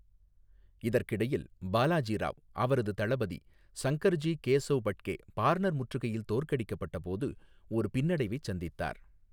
இதற்கிடையில், பாலாஜி ராவ் அவரது தளபதி சங்கர் ஜி கேசவ் பட்கே பார்னர் முற்றுகையில் தோற்கடிக்கப்பட்டபோது ஒரு பின்னடைவை சந்தித்தார்.